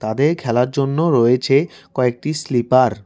তাদের খেলার জন্যও রয়েছে কয়েকটি স্লিপার ।